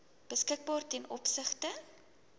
beskikbaar ten opsigte